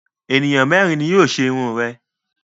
Ènìyàn mẹ́rin ni yóò ṣe irun rẹ.